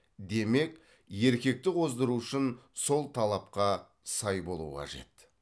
демек еркекті қоздыру үшін сол талапқа сай болу қажет